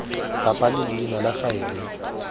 bapa le leina la faele